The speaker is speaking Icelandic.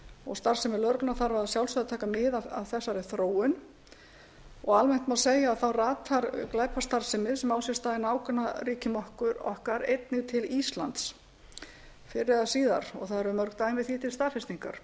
og starfsemi lögreglunnar þarf að sjálfsögðu að taka mið af þessari þróun alveg eins má segja að þá ratar glæpastarfsemi sem á sér stað í nágrannaríkjum okkar einnig til íslands fyrr eða síðar og það eru mörg dæmi því til staðfestingar